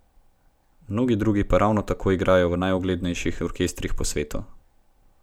Mnogi drugi pa ravno tako igrajo v najuglednejših orkestrih po svetu.